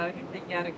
Haqlı, hə, Xankəndli.